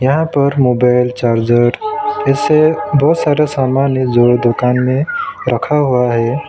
यहां पर mobile charger ऐसे बहुत सारा सामान है जो दुकान में रखा हुआ है।